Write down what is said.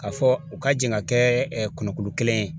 K'a fɔ u ka jɛ ka kɛ kɔnɔkulu kelen ye